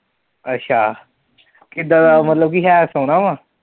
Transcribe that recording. ਅੱਛਾ, ਕਿੱਦਾਂ ਦਾ ਉਹ ਮਤਲਬ ਹੈ ਸੋਹਣਾ ਵਾ